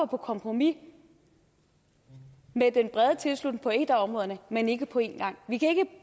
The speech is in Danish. på kompromis med den brede tilslutning på et af områderne men ikke på én gang vi kan